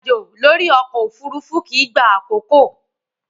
Irin-ajo lori ọkọ ofurufu kii gba akoko.